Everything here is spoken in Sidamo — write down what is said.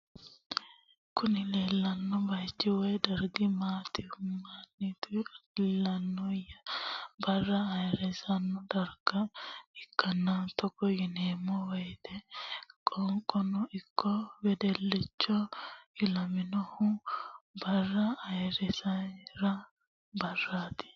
Kuni leleano bayichi woy darigi maniotu ilaniyino bara ayirisano dariga ikana toggo yinaniwoyite qaqqono iko wedelichono ilaminohu bara ayirrisirano barratti